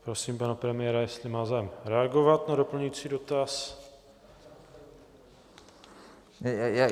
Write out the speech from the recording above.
Prosím pana premiéra, jestli má zájem reagovat na doplňující dotaz.